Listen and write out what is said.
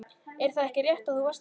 Er það ekki rétt að þú varst þar?